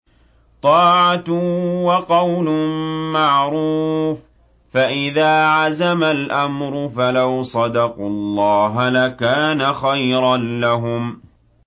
طَاعَةٌ وَقَوْلٌ مَّعْرُوفٌ ۚ فَإِذَا عَزَمَ الْأَمْرُ فَلَوْ صَدَقُوا اللَّهَ لَكَانَ خَيْرًا لَّهُمْ